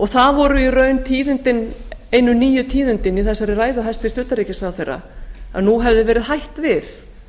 það voru í raun einu nýju tíðindin í þessari ræðu hæstvirts utanríkisráðherra að nú hefði verið hætt við